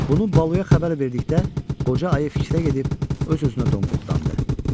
Bunu Baluya xəbər verdikdə qoca ayı fikrə gedib öz-özünə donquldandı.